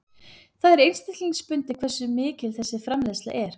Það er einstaklingsbundið hversu mikil þessi framleiðsla er.